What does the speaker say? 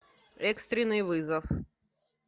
экстренный вызов